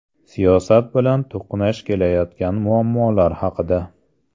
Siyosat bilan to‘qnash kelayotgan muammolar haqida.